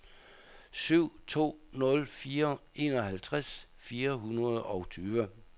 syv to nul fire enoghalvtreds fire hundrede og tyve